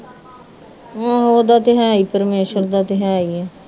ਓਹਦਾ ਤੇ ਹੈ ਹੀ ਪਰਮੇਸਰ ਦਾ ਤੇ ਹੈ ਹੀ ਆ